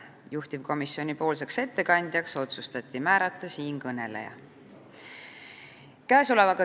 Juhtivkomisjoni ettekandjaks otsustati määrata siinkõneleja.